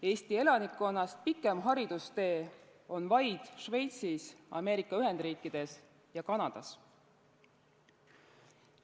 Eesti elanikkonnast pikem haridustee on vaid Šveitsis, Ameerika Ühendriikides ja Kanadas.